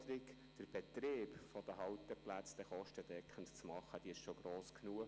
Die Herausforderung, den Betrieb der Halteplätze kostendeckend zu gestalten, ist schon gross genug.